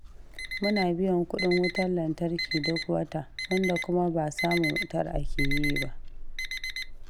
Muna biyan kuɗin wutar lantarki duk wata, wanda kuma ba samun wutar ake yi ba.